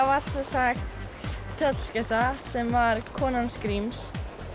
var sem sagt tröllskessa sem var konan hans Gríms